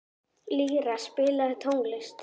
Lýra, spilaðu tónlist.